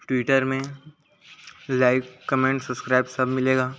Twitter में like comment subscribe सब मिलेगा।